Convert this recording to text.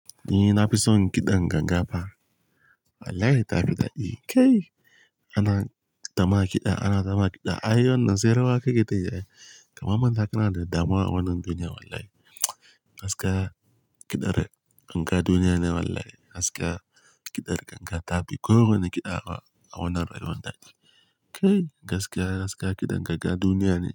Ni na fi son kiɗan ganga fa. Wallahi ta fi dadi. Kai! Ana tama kiɗa, ana tama kiɗa. Ai wannan sai rawa kake tayi ai. Kama manta kana da damuwa a wannan duniyan wallahi. Gaskiya kiɗar ganga duniyane wallahi. Gaskiya kiɗar ganga ta fi ko wane kiɗa a wannan rayuwan dadi. Kai! Gaskiya askiya kiɗan ganga duniyane.